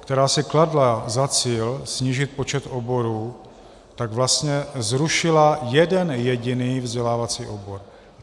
která si kladla za cíl snížit počet oborů, tak vlastně zrušila jeden jediný vzdělávací obor.